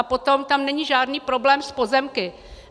A potom, tam není žádný problém s pozemky.